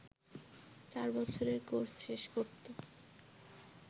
চার বছরের কোর্স শেষ করত